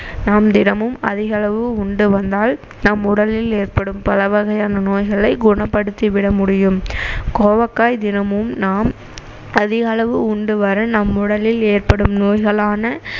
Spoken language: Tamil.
நாம் தினமும் அதிக அளவு உண்டு வந்தால் நம் உடலில் ஏற்படும் பல வகையான நோய்களை குணப்படுத்திவிட முடியும் கோவக்காய் தினமும் நாம் அதிக அளவு உண்டு வர நம் உடலில் ஏற்படும் நோய்களான